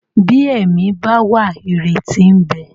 Bí ẹ̀mí bá wà ìrètí ń bẹ.